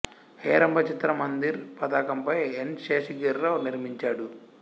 హేరంబ చిత్ర మందిర్ పతాకంపై ఎన్ శేషగిరి రావు నిర్మించాడు